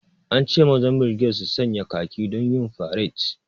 An ce mazan birged su sanya khaki don yin faret